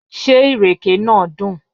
Ṣé ìrèké náà dùn?